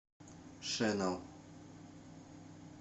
шенел